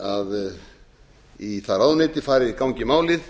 að það ráðuneyti gangi í málið